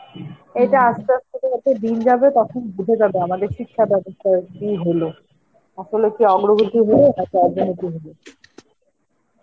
এটা আস্তে আস্তে যত দিন যাবে, তখন বোঝা যাবে আমাদের শিক্ষাব্যবস্থার কি হল, আসলে কি অগ্রগতি হলো